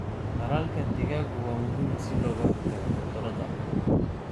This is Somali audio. Tallaalka digaaggu waa muhiim si looga hortago cudurrada.